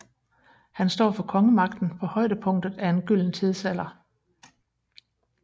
Han står for kongemagten på højdepunktet af en gylden tidsalder